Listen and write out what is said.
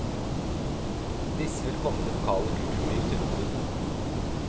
Disse vil komme det lokale kulturlivet til gode.